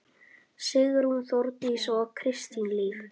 Sigrún, Þórdís og Kristín Líf.